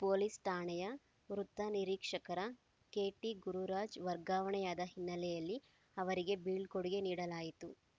police ಠಾಣೆಯ ವೃತ್ತ ನಿರೀಕ್ಷಕ ಕೆಟಿಗುರುರಾಜ್‌ ವರ್ಗಾವಣೆಯಾದ ಹಿನ್ನೆಲೆಯಲ್ಲಿ ಅವರಿಗೆ ಬೀಳ್ಕೊಡುಗೆ ನೀಡಲಾಯಿತು